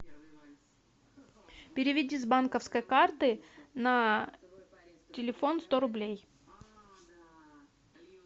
переведи с банковской карты на телефон сто рублей